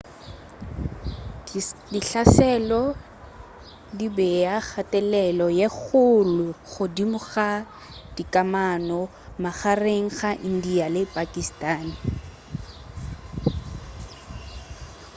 dihlaselo di bea kgathelelo ye kgolo godimo ga dikamano magareng ga india le pakistan